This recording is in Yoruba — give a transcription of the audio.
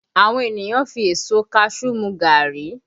Àwọn ènìyàn fi èso kaṣuú mu gàárì